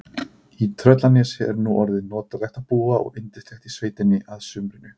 Í Tröllanesi er nú orðið notalegt að búa og yndislegt í sveitinni að sumrinu.